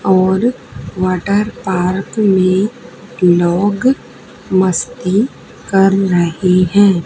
और water park में लोग मस्ती कर रही है।